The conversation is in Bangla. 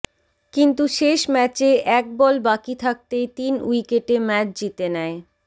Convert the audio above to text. কিন্তু শেষ ম্যাচে এক বল বাকি থাকতেই তিন উইকেটে ম্যাচ জিতে নেয়